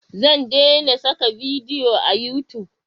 Zan dena saka bidiyo a yutub